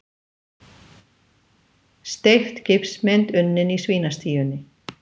Steypt gifsmynd unnin í svínastíunni